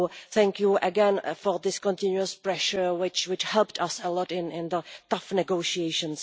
So thank you again for this continuous pressure, which helped us a lot in the tough negotiations.